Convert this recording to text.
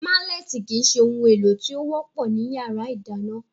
Málẹ̀tì kìí se ohun èlò tí ó wọ́pọ̀ ní yàrá ìdáná